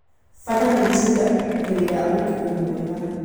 Bara nĩ itigagĩrĩra ũkuui mwega.